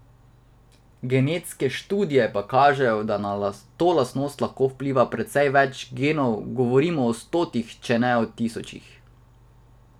Genetske študije pa kažejo, da na to lastnost lahko vpliva precej več genov, govorimo o stotih, če ne tisočih.